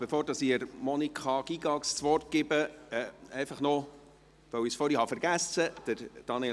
Bevor ich Monika Gygax das Wort erteile, möchte ich etwas erwähnen, das ich noch vergessen habe.